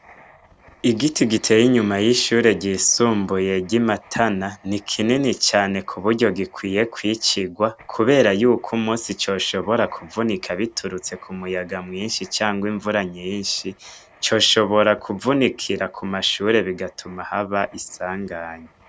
Igiti giteye inyuma y'ishure ryisumbuye ry'i Matana, ni kinini cane ku buryo gikwiye kwicirwa. Kubera yuko umunsi coshobora kuvunika biturutse ku muyaga mwinshi canke imvura nyinshi, coshobora kuvunikira ku mashure bigatuma haba isanganya.